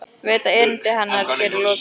Veit að erindi hennar hér er lokið.